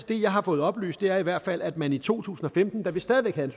det jeg har fået oplyst er i hvert fald at man i to tusind og femten da vi stadig væk havde